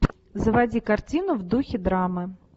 заводи картину в духе драмы